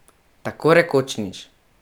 Tako rekoč nič.